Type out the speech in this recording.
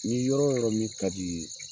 Nin yɔrɔ yɔrɔ min ka di ye.